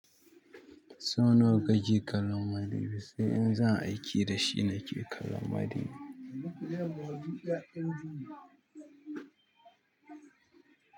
So nawa kake kallon madubi? Sai in zan aiki da shi nake kallan madubi.